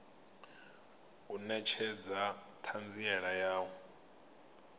u netshedza thanziela ya u